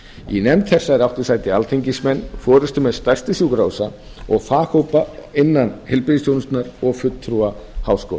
í nefnd þessari áttu sæti alþingismenn forustumenn stærstu sjúkrahúsa og faghópa innan heilbrigðisþjónustunnar og fulltrúar háskóla